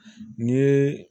Ni ye